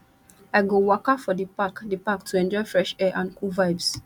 i go waka for di park di park to enjoy fresh air and cool vibes